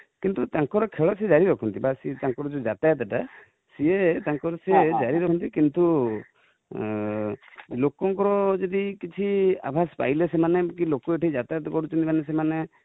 କିନ୍ତୁ ତାଙ୍କର ଖେଳ ସେ ଜାରି ରଖନ୍ତି ବାସ ତାଙ୍କର ଯୋଉ ଯାତାୟାତ ଟା ସିଏ ତାଙ୍କର ଜାରି ରଖନ୍ତି କିନ୍ତୁ ଲୋକ ଙ୍କର ଯଦି କିଛି ଆଭାସ ପାଇଲେ ସେମାନେ କି ଲୋକ ଯାତାୟାତ କରୁଛନ୍ତି, ମାନେ ସେମାନେ,